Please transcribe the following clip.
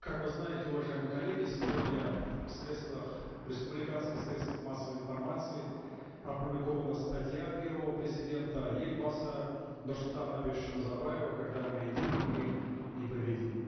как вы знаете уважаемые коллеги сегодня в средствах республиканских средствах массовой информации опубликована статья первого президента елбасы нурсултана абишевича назарбаева когда мы едины мы непобедимы